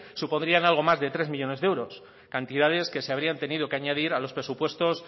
supondrían algo más de tres millónes de euros cantidades que se habrían tenido que añadir a los presupuestos